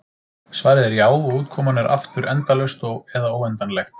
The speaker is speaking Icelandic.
Svarið er já, og útkoman er aftur endalaust eða óendanlegt.